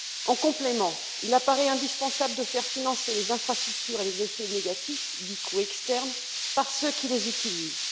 En complément, il apparaît indispensable de faire financer les infrastructures et les effets négatifs, dits coûts externes, par ceux qui les utilisent.